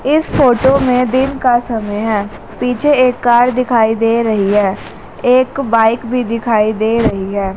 इस फोटो में दिन का समय है पीछे एक कार दिखाई दे रही है एक बाइक भी दिखाई दे रही है।